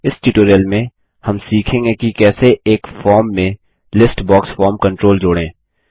इस ट्यूटोरियल में हम सीखेंगे कि कैसे एक फॉर्म में लिस्ट बॉक्स फॉर्म कंट्रोल जोड़ें